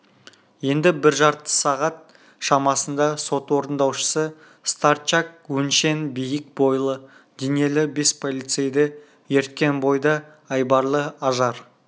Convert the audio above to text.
енді бір жарты сағат шамасында сот орындаушысы старчак өңшең биік бойлы денелі бес полицейді ерткен бойда айбарлы ажар